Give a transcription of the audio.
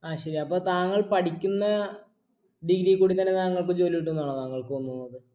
ആ ശരി അപ്പൊ താങ്കൾ പഠിക്കുന്ന degree കൂടി തന്നെ താങ്കൾക്ക് ജോലി കിട്ടു എന്നാണോ താങ്കൾക്ക് തോന്നുന്നത്